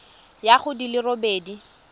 ya go di le robedi